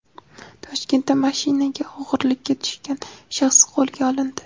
Toshkentda mashinaga o‘g‘rilikka tushgan shaxs qo‘lga olindi.